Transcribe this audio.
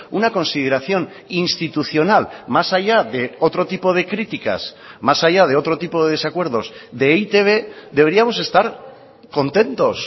una consideración institucional más allá de otro tipo de críticas más allá de otro tipo de desacuerdos de e i te be deberíamos estar contentos